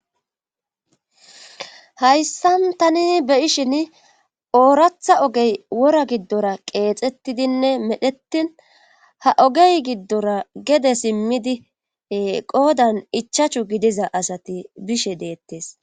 hayssan tani beyishin ooratha ogey wora giddora qeexettidinne medhetin ha ogey giddora gede simmidie qoodan ichachu gidiza asati bishe deettes